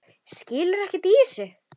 Skilur ekkert í þessu.